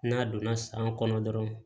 N'a donna san kɔnɔ dɔrɔn